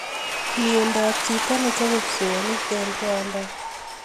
Mieindo ap chito ne chope psoonik ing Rwanda.